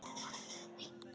Kannski er ég ofvirk.